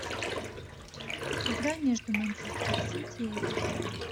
игра между манчестер сити и эвертон